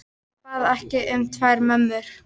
Hann bað ekki um tvær mömmur.